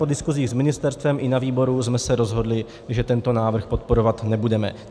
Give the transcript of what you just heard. Po diskuzích s ministerstvem i na výboru jsme se rozhodli, že tento návrh podporovat nebudeme.